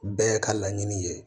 Bɛɛ ka laɲini ye